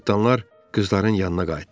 Cırtdanlar qızların yanına qayıtdılar.